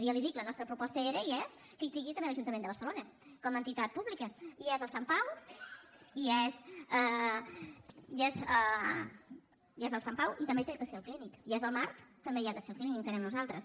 i ja li dic la nostra proposta era i és que hi sigui també l’ajuntament de barcelona com a entitat pública hi és al sant pau i també hi ha de ser al clínic hi és al mar també hi ha de ser al clínic entenem nosaltres